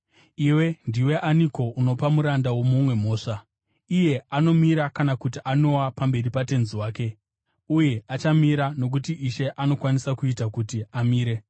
Iwe ndiwe aniko unopa muranda womumwe mhosva? Iye anomira kana kuti anowa pamberi patenzi wake. Uye achamira, nokuti Ishe anokwanisa kuita kuti amire.